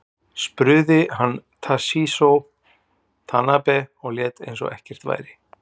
Spruði hann Toshizo Tanabe og lét eins og ekkert væri.